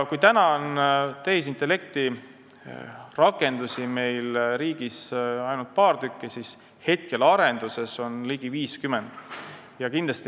Kui praegu on meil tehisintellekti rakendusi riigis ainult paar tükki, siis arenduses on neid ligi 50.